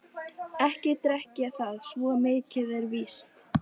Ekki drekk ég það, svo mikið er víst.